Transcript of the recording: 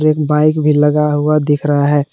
एक बाइक भी लगा हुआ दिख रहा है।